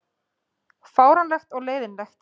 Fáránlegt og leiðinlegt